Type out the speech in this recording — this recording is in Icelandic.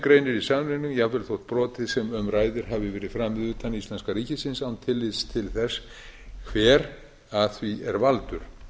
greinir í samningnum jafnvel þótt brotið sem um ræðir hafi verið framið utan íslenska ríkisins án tillits til þess hver að því er valdur